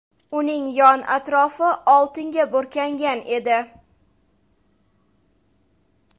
Uning yon-atrofi oltinga burkangan edi.